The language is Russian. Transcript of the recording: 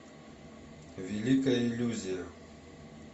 великая иллюзия